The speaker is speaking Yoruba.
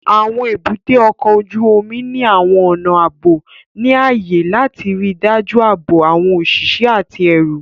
Àwọn èbúté ọkọ̀ ojú omi ní àwọn ọnà ààbò ní ààyè láti ríi dájú ààbò àwọn òṣìṣẹ́ àti ẹrù